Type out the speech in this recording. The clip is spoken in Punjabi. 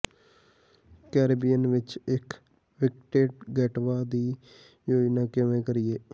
ਕੈਰੀਬੀਅਨ ਵਿੱਚ ਇੱਕ ਵਿਕਟੇਂੰਡ ਗੇਟਵਾ ਦੀ ਯੋਜਨਾ ਕਿਵੇਂ ਕਰੀਏ